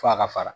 F'a ka fara